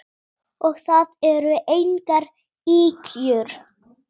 Og það eru engar ýkjur.